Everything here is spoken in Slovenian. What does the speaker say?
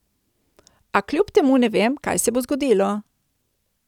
A kljub temu ne vem, kaj se bo zgodilo.